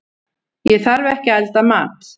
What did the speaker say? Ég þarf ekki að elda mat.